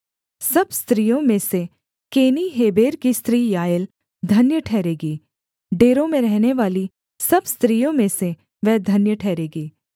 सब स्त्रियों में से केनी हेबेर की स्त्री याएल धन्य ठहरेगी डेरों में रहनेवाली सब स्त्रियों में से वह धन्य ठहरेगी